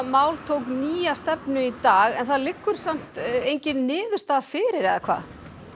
mál tók nýja stefnu í dag en það liggur þó engin niðurstaða fyrir eða hvað